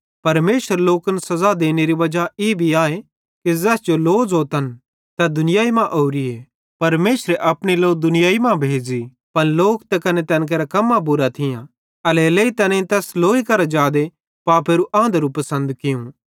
परमेशर लोकन सज़ा देनेरी वजा ई आए कि ज़ैस जो लो ज़ोतन तै दुनियाई मां ओरिए परमेशरे अपनी लो दुनियाई मां भेज़ी पन लोक ते कने तैन केरां कम्मां बुरां थियां एल्हेरेलेइ तैनेईं तैस लोई करां जादे पापेरू आंधरू पसंद कियूं